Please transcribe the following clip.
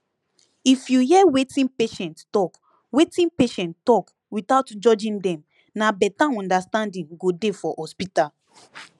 if you hear wetin patient talk wetin patient talk without judging dem na better understanding go dey for hospital